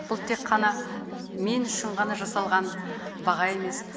бұл тек қана мен үшін ғана жасалған баға емес